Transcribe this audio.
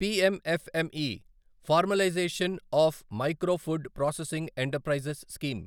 PM FM E formalisation of micro food processing enterprises scheme